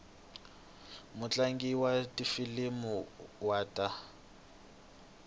mutlangi wa tifilimi wa ta